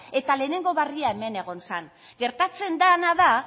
eta lehenengo berria hemen egon zen gertatzen dena da